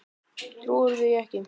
Trúirðu því ekki?